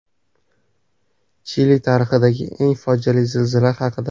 Chili tarixidagi eng fojiali zilzila haqida.